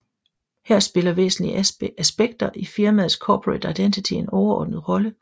Her spiller væsentlige aspekter i firmaets Corporate Identity en overordnet rolle